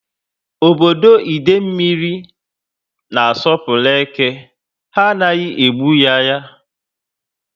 Ọbọdọ Idemili niile na asopuru eke. Ha anaghị egbu ya ya